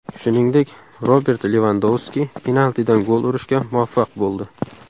Shuningdek, Robert Levandovski penaltidan gol urishga muvaffaq bo‘ldi.